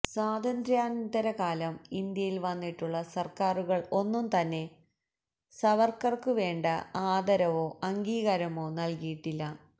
സ്വാതന്ത്ര്യാനന്തര കാലം ഇന്ത്യയിൽ വന്നിട്ടുള്ള സർക്കാരുകൾ ഒന്നും തന്നെ സവർക്കർക്കു വേണ്ട ആദരവോ അംഗീകാരമോ നൽകിയിട്ടില്ല